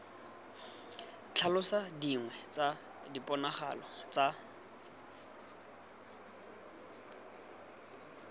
tlhalosa dingwe tsa diponagalo tsa